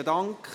Besten Dank.